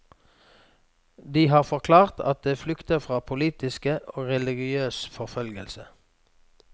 De har forklart at de flykter fra politisk og religiøs forfølgelse.